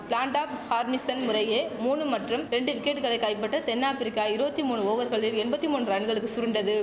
Flintoff Harmison முறையே மூனு மற்றும் ரெண்டு விக்கெட்டுகளை கைப்பற்ற தென் ஆப்பிரிக்கா இருவத்தி மூனு ஓவர்களில் எம்பத்தி மூனு ரன்களுக்கு சுருண்டது